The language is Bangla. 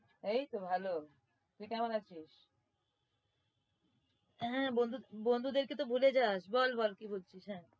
এই তো ভাল। তুই কেমন আছিস? হ্যাঁ বন্ধু~ বন্ধুদেরকে তো ভুলে যাস বল বল কি বলছিস? হ্যাঁ